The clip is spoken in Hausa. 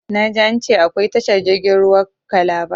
Na ji an ce akwai tashar jirgin ruwa kalaba